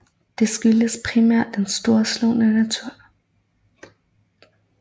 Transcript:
Det skyldes primært den storslåede natur